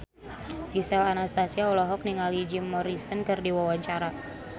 Gisel Anastasia olohok ningali Jim Morrison keur diwawancara